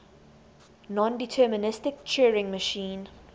nondeterministic turing machine